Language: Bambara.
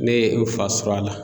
Ne ye n fa sɔrɔ a la.